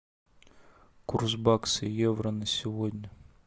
курс бакса евро на сегодня